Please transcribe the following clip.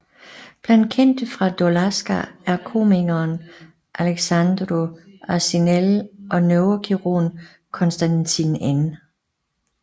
Blandt kendte fra Dolhasca er komikeren Alexandru Arșinel og neurokirurgen Constantin N